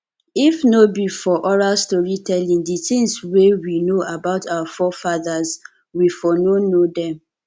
if no be for oral story telling di things wey we know about our forefathers we for no know dem